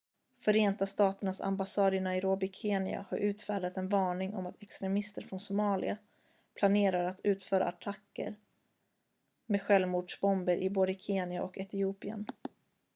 "förenta staternas ambassad i nairobi kenya har utfärdat en varning om att "extremister från somalia" planerar att utföra attacker med självmordsbomber i både kenya och etiopien.